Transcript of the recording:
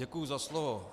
Děkuji za slovo.